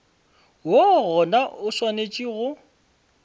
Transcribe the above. woo gona o swanetše go